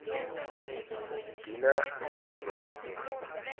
tiqcina nemhlaba umuhle